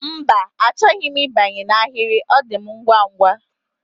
Mba, achọghị m ịbanye n'ahịrị, ọ dị m ngwa ngwa